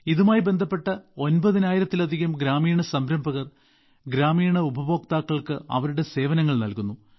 ഇതുമായി ബന്ധപ്പെട്ട 9000ലധികം ഗ്രാമീണ സംരംഭകർ ഗ്രാമീണ ഉപഭോക്താക്കൾക്ക് അവരുടെ സേവനങ്ങൾ നൽകുന്നു